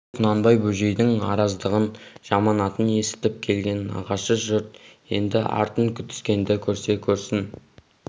кеше құнанбай бөжейдің араздығын жаманатын есітіп келген нағашы жұрт енді артын күтіскенді көрсе көрсін